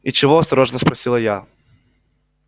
и чего осторожно спросила я